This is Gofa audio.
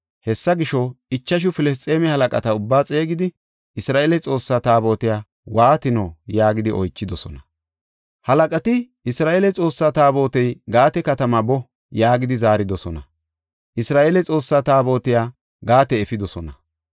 Hessa gisho, ichashu Filisxeeme halaqata ubbaa xeegidi, “Isra7eele Xoossaa Taabotiya waatino?” yaagidi oychidosona. Halaqati, “Isra7eele Xoossaa Taabotey Gaate katamaa boo” yaagidi zaaridosona. Isra7eele Xoossaa Taabotiya Gaate efidosona.